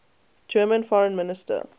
german foreign minister